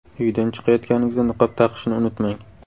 Uydan chiqayotganingizda niqob taqishni unutmang!